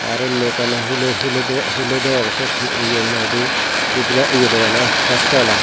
aro unni ekkan hulo hulo do hulo degong siyot he nang hoide bujiba ye dogan sastol i.